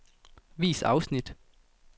Vis afsnit.